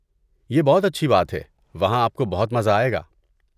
یہ بہت اچھی بات ہے، وہاں آپ کو بہت مزہ آئے گا۔